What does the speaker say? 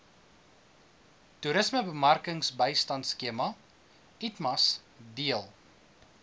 toerismebemarkingbystandskema itmas deel